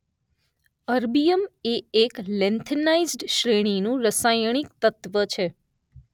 Erbium એ એક lanthanide શ્રેણીનું રસાયણિક તત્વ છે.